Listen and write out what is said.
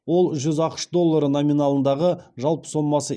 ол жүз ақш доллары номиналындағы жалпы сомасы